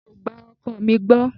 Mi ò gba ọkọ mi gbọ́.